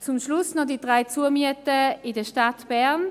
Zum Schluss noch die drei Zumieten in der Stadt Bern: